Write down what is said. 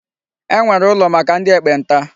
E nwere ụlọ maka ndị ekpenta.